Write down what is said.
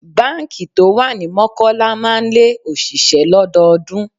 Báńkì tó wà ní Mọ́kọ́lá máa ń lé òṣìṣẹ́ lọ́dọọdún.